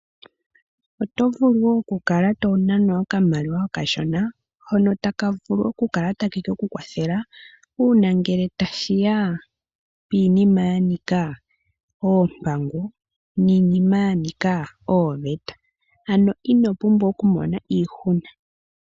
Oto vulu okukala tonanwa okamaliwa okashona hono taka vulu okukala takekeku kwathela uuna ngele tashiya kiinima yanika oompango niinima ya nika ooveta. Inopumbwa Okumona iihuna.